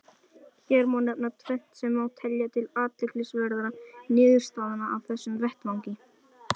Hér má nefna tvennt sem má telja til athyglisverðra niðurstaðna af þessum vettvangi.